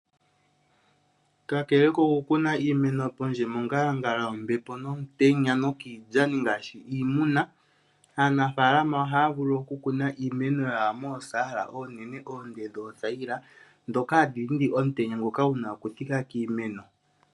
Kakele koku kuna iimeno pondje mongalangala yombepo nomutenya nokiilyani ngaashi iimuna aanafaalama ohaya vulu oku kuna iimeno yawo moosaala oonene oonde dhoothayila dhoka hadhi dhindi omutenya ngoka guna okuthika kiimeno